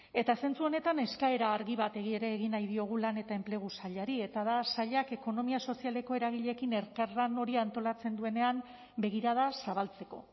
eta zentzu honetan eskaera argi bat ere egin nahi diogu lan eta enplegu sailari eta da sailak ekonomia sozialeko eragileekin elkarlan hori antolatzen duenean begirada zabaltzeko